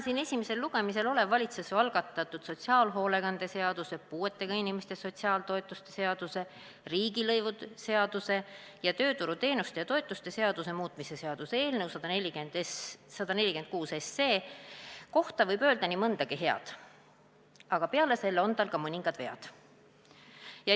Täna esimesel lugemisel olev valitsuse algatatud sotsiaalhoolekande seaduse, puuetega inimeste sotsiaaltoetuste seaduse, riigilõivuseaduse ning tööturuteenuste ja -toetuste seaduse muutmise seaduse eelnõu 146 kohta võib öelda nii mõndagi head, aga peale selle on tal ka mõningad vead.